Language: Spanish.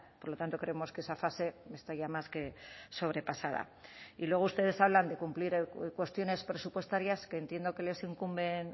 por lo tanto creemos que esa fase está ya más que sobrepasada y luego ustedes hablan de cumplir cuestiones presupuestarias que entiendo que les incumben